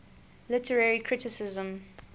literary criticism